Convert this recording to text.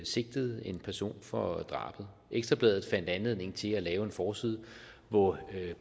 sigtede en person for drabet ekstra bladet fandt anledning til at lave en forside hvor